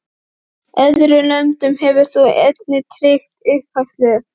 Öðrum löndum hefur þú einnig tryggt uppfæðslu